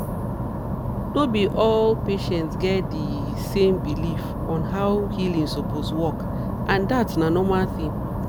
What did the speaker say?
no be all patients get di same belief on how healing suppose work and dat na normal thing